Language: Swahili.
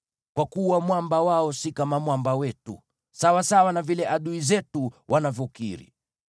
Kwa kuwa mwamba wao si kama Mwamba wetu, sawasawa na vile adui zetu wanavyokiri.